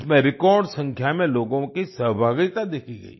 इसमें रेकॉर्ड संख्या में लोगों की सहभागिता देखी गई